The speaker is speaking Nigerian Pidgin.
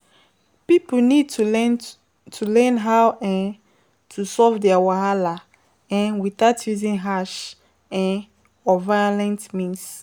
Pipo need to learn to learn how um to solve their wahala um without using harsh um or violent means